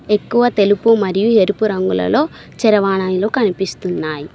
ఎక్కువ తెలుపు మరియు ఎరుపు రంగులలో చేరవాయినాలు కనిపిస్తున్నాయి.